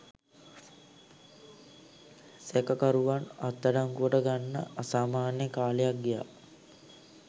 සැකකරුවන් අත්අඩංගුවට ගන්න අසාමාන්‍ය කාලයක් ගියා.